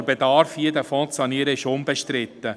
Der Bedarf, den Fonds zu sanieren, ist unbestritten.